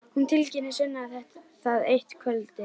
Hún tilkynnir Svenna það eitt kvöldið.